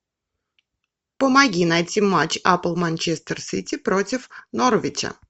помоги найти матч апл манчестер сити против норвича